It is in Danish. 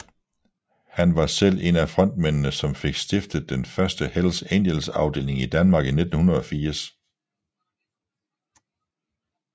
Han var selv en af frontmændene som fik stiftet den første Hells Angels afdeling i Danmark i 1980